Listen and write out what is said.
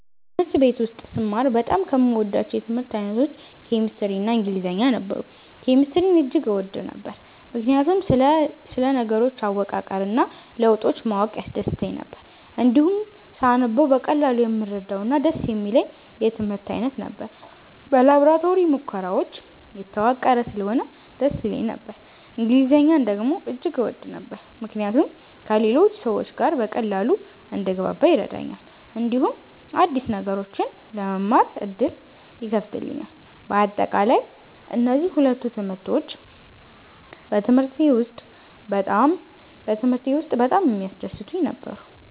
በትምህርት ቤት ውስጥ ስማር በጣም ከምወዳቸው የትምህርት አይነቶች ኬሚስትሪ እና ኢንግሊዝኛ ነበሩ። ኬሚስትሪን እጅግ እወድ ነበር፣ ምክንያቱም ስለ ነገሮች አወቃቀር እና ለውጦች ማወቅ ያስደስተኝ ነበር። እንዲሁም ሳነበው በቀላሉ የምረዳውና ደስ የሚለኝ የትምህርት አይነት ነበር። በላቦራቶሪ ሙከራዎች የተዋቀረ ስለሆነ ደስ ይለኝ ነበር። እንግሊዝኛን ደግሞ እጅግ እወድ ነበር፣ ምክንያቱም ከሌሎች ሰዎች ጋር በቀላሉ እንድግባባ ይረዳኛል፣ እንዲሁም አዲስ ነገሮችን ለመማር ዕድል ይከፍትልኛል። በአጠቃላይ፣ እነዚህ ሁለቱ ትምህርቶች በትምህርቴ ውስጥ በጣም የሚያስደስቱኝ ነበሩ።